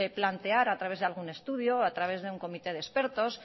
plantear a través de algún estudio a través de un comité de expertos